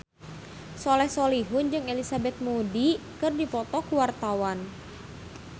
Soleh Solihun jeung Elizabeth Moody keur dipoto ku wartawan